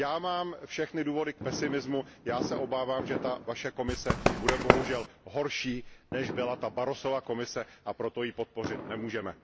Já mám všechny důvody k pesimismu, já se obávám, že ta vaše Komise bude bohužel horší, než byla ta Barrosova Komise, a proto ji podpořit nemůžeme.